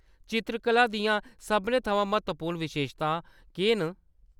चित्तरकला दियां सभनें थमां म्हत्तवपूर्ण विशेशतां केह्‌‌ न?